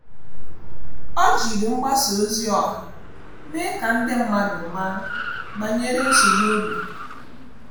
Ọ́ jìrì mgbasa ozi ọha mèé kà ndị mmadụ màá banyere nsogbu ógbè.